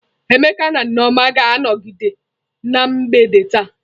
Emeka na Nneoma ga-anọkọ na mgbede taa.